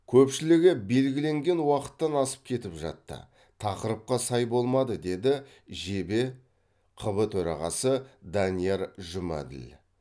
көпшілігі белгіленген уақыттан асып кетіп жатты тақырыпқа сай болмады дейді жебе қб төрағасы данияр жұмәділ